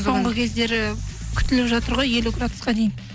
соңғы кездері күтіліп жатыр ғой елу градусқа дейін